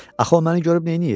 Axı o məni görüb neyniyir?